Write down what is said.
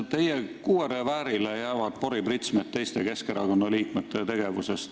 Teie kuuereväärile jäävad poripritsmed teiste Keskerakonna liikmete tegevusest.